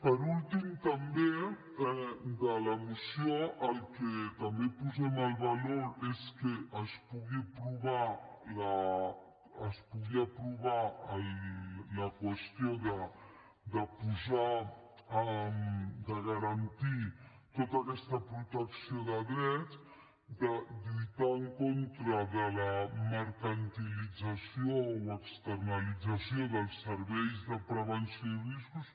per últim també de la moció allò que posem en valor és que es pugui aprovar la qüestió de garantir tota aquesta protecció de dret de lluitar en contra de la mercantilització o externalització dels serveis de prevenció i riscos